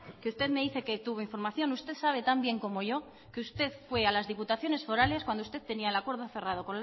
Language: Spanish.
que usted me dice que tuvo información usted sabe tan bien como yo que usted fue a las diputaciones forales cuando usted tenía en acuerdo cerrado